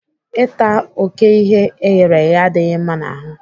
Ịta oké ihe eghereghe adịghị mma n'ahụ.